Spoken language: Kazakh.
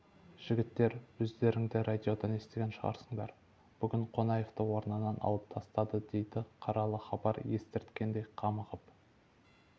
жігіттер өздерің де радиодан естіген шығарсыңдар бүгін қонаевты орнынан алып тастады дейді қаралы хабар естірткендей қамығып